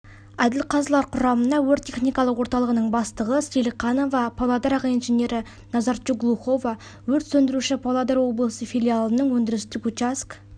әділқазылар құрамына өрт-техникалық орталығының бастығы сейлқанова павлодар аға инженері назарчук-глухова өрт сөндіруші павлодар облысы филиалының өндірістік учаскесінің бастығы бородихин алтын